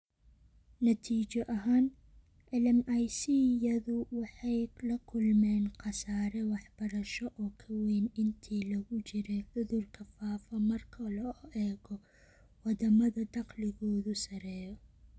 Natiijo ahaan, LMIC-yadu waxay la kulmeen khasaare waxbarasho oo ka weyn intii lagu jiray cudurka faafa marka loo eego waddamada dakhligoodu sarreeyo.